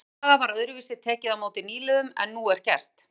Í þá daga var öðruvísi tekið á móti nýliðum en nú er gert.